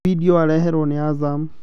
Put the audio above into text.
Vidio wareherwo nĩ Azam